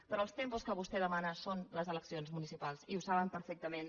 però els tempos que vostè demana són les eleccions municipals i ho saben perfectament